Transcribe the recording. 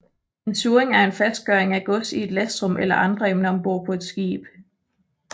En surring er en fastgøring af gods i et lastrum eller andre emner om bord på et skib